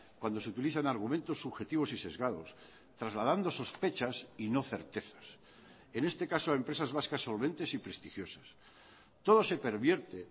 cuando se utilizan argumentos subjetivos y sesgados trasladando sospechas y no certezas en este caso a empresas vascas solventes y prestigiosas todo se pervierte